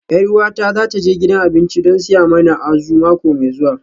Yar uwata za ta je gidan abinci don siya mana Azu mako mai zuwa